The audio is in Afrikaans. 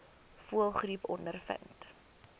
voëlgriep ondervind